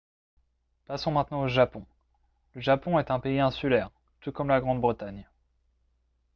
passons maintenant au japon le japon est un pays insulaire tout comme la grande-bretagne